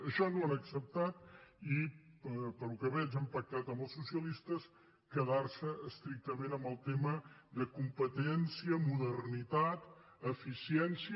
això no ho han acceptat i pel que veig han pactat amb els socialistes quedar se estrictament en el tema de competència modernitat eficiència